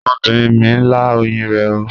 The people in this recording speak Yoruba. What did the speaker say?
Ọmọbinrin mi n la oyin rẹ ooo